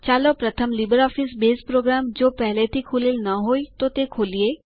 ચાલો પ્રથમ LibreOffice base program જો પેહલે થી ખૂલેલ ન હોય તો ખોલીએ